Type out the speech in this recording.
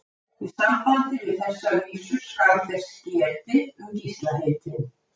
Í sambandi við þessa vísu skal þess getið um Gísla heitinn